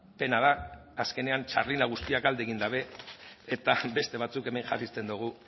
pena da azkenean guztiak alde egin dute eta beste batzuek hemen jarraitzen dugu